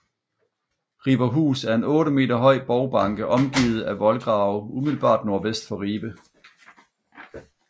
Riberhus er en 8 meter høj borgbanke omgivet af voldgrave umiddelbart nordvest for Ribe